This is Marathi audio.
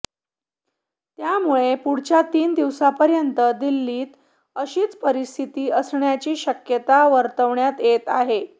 त्यामुळे पुढच्या तीन दिवसांपर्यंत दिल्लीत अशीच परिस्थिती असण्याची शक्यता वर्तवण्यात येत आहे